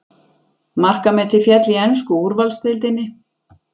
Markametið féll í ensku úrvalsdeildinni